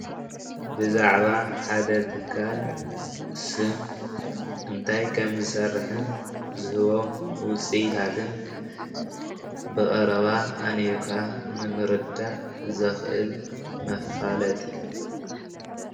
ብዛዕባ ሓደ ትካል ስም እንታይ ከምዝሰርሕን ዝህቦም ውፂኢታትን ብቐረባ ኣንቢብካ ንምርዳእ ዝኽእል መፋለጢ እዩ።